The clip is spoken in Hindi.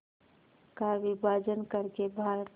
का विभाजन कर के भारत